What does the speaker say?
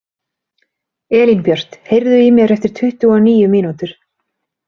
Elínbjört, heyrðu í mér eftir tuttugu og níu mínútur.